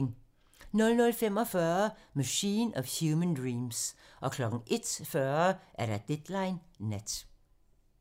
00:45: Machine of Human Dreams 01:40: Deadline nat